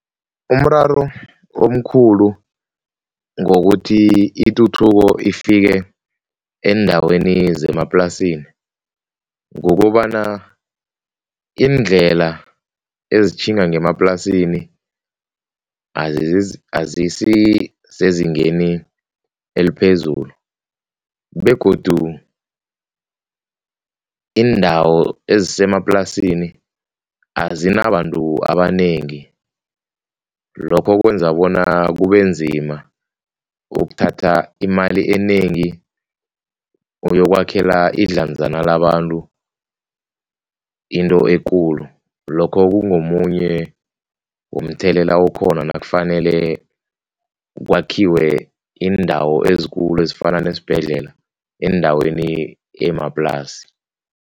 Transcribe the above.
Umraro omkhulu ngokuthi ituthuko ifike eendaweni zemaplasini kukobana iindlela ezitjhinga ngemaplasini azisisezingeni eliphezulu begodu iindawo ezisemaplasini azinabantu abanengi lokho kwenza bona kubenzima ukuthatha imali enengi uyokwakhela idlanzana labantu into ekulu, lokho kungomunye umthelela okhona nakufanele kwakhiwe iindawo ezikulu ezifana nezibhedlela eendaweni emaplasini.